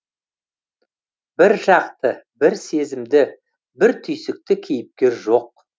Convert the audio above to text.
бір жақты бір сезімді бір түйсікті кейіпкер жоқ